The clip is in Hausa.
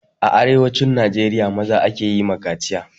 A arewacin najeriya, maza ake yi ma kaciya.